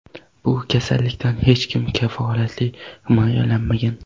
Bu kasallikdan hech kim kafolatli himoyalanmagan.